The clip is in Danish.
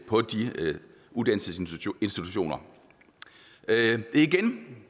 på de uddannelsesinstitutioner igen